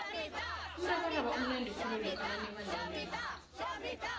umrabaraba umnandi khulu lokha nanibanengi